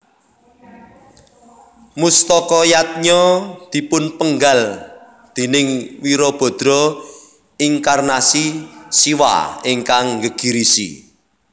Mustaka Yadnya dipunpenggal déning Wirabadra inkarnasi Siwa ingkang nggegirisi